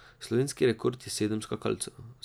Slovenski rekord je sedem skakalcev.